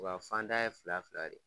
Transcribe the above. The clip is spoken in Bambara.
O ka fan da ye fila fila le ye